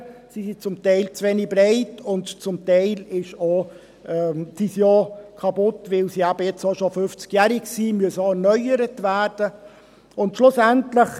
Sie sind zum Teil zu wenig breit, und zum Teil auch kaputt, weil sie eben auch schon 50-jährig sind und erneuert werden müssen.